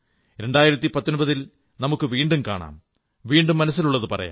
2019 ൽ നമുക്ക് വീണ്ടും കാണാം വീണ്ടും മനസ്സിലുള്ളതു പറയാം